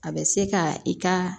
A bɛ se ka i ka